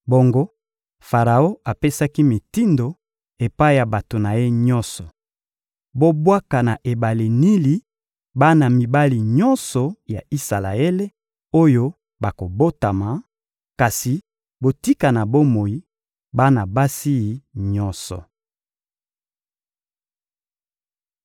Bongo, Faraon apesaki mitindo epai ya bato na ye nyonso: «Bobwaka na ebale Nili bana mibali nyonso ya Isalaele oyo bakobotama, kasi botika na bomoi bana basi nyonso.»